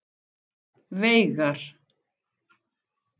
Veigar